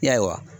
Ya